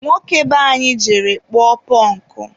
nwoke be anyị jere kpụọ pụnkụ.